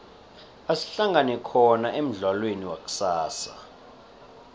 asihlangane khona emudlalweni wakusasa